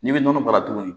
N'i bɛ nɔnɔ baara tuguni